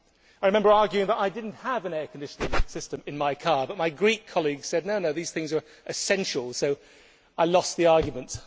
I remember arguing that I did not have an air conditioning system in my car, but my Greek colleagues assured me that these things were essential, so I lost the argument.